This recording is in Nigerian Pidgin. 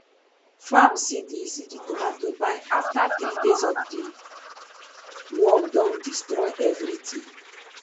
farm see di see di tomato but afta three days di worm don destroy evritin